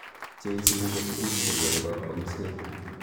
Cheisibu ko tuguk che konu kongwengkset.